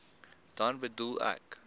dan bedoel ek